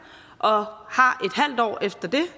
og har